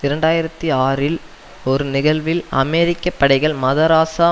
இரண்டு ஆயிரத்தி ஆறில் ஒரு நிகழ்வில் அமெரிக்க படைகள் மதராஸா